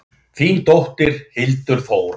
Þín dóttir, Hildur Þóra.